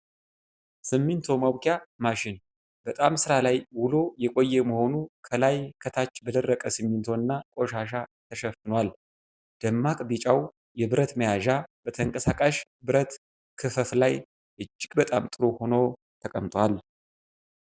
ሲሚንቶ ማቡኪያ ማሽን በጣም ስራ ላይ ውሎ የቆየ መሆኑ ከላይ ከታች በደረቀ ሲሚንቶና ቆሻሻ ተሸፍኗል። ደማቅ ቢጫው የብረት መያዣ በተንቀሳቃሽ ብረት ክፈፍ ላይ እጅግ በጣም ጥሩ ሆኖ ተቀምጧል።